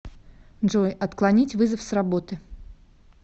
джой отклонить вызов с работы